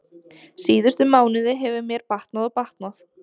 Síðustu mánuði hefur mér batnað og batnað.